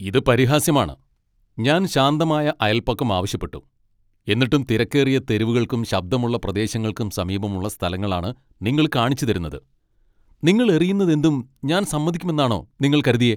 ഇത് പരിഹാസ്യമാണ്. ഞാൻ ശാന്തമായ അയൽപക്കം ആവശ്യപ്പെട്ടു, എന്നിട്ടും തിരക്കേറിയ തെരുവുകൾക്കും ശബ്ദമുള്ള പ്രദേശങ്ങൾക്കും സമീപമുള്ള സ്ഥലങ്ങളാണ് നിങ്ങൾ കാണിച്ചുതരുന്നത്. നിങ്ങൾ എറിയുന്നതെന്തും ഞാൻ സമ്മതിക്കുമെന്നാണോ നിങ്ങൾ കരുതിയെ?